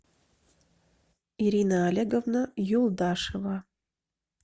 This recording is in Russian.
ирина олеговна юлдашева